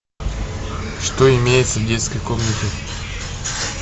что имеется в детской комнате